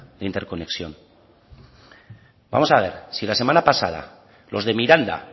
en interconexión vamos a ver si la semana pasada los de miranda